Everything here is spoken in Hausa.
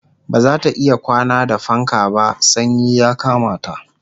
bazata iya kwana da fanka ba sanyi ya Kamata